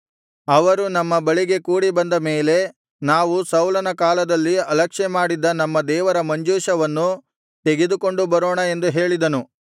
ಅವರು ನಮ್ಮ ಬಳಿಗೆ ಕೂಡಿ ಬಂದ ಮೇಲೆ ನಾವು ಸೌಲನ ಕಾಲದಲ್ಲಿ ಅಲಕ್ಷ್ಯಮಾಡಿದ್ದ ನಮ್ಮ ದೇವರ ಮಂಜೂಷವನ್ನು ತೆಗೆದುಕೊಂಡು ಬರೋಣ ಎಂದು ಹೇಳಿದನು